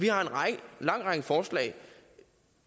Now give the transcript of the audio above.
vi har en lang række forslag